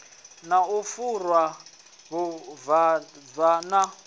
na u fhura vhuvhava na